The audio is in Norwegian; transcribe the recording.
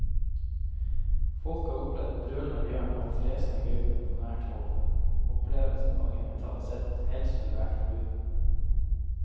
Folk har opplevd brølende bjørn og fresende gaupe på nært hold, opplevelser mange mentalt sett helst ville vært foruten.